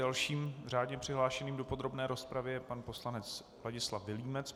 Dalším řádně přihlášeným do podrobné rozpravy je pan poslanec Vladislav Vilímec.